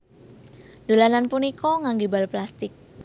Dolanan punika nganggé bal plastik